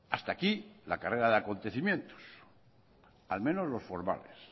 hasta aquí la carrera de acontecimientos al menos los formales